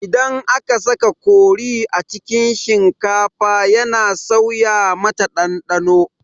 Idan aka saka kori a cikin shinkafa yana sauya mata ɗanɗano